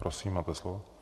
Prosím, máte slovo.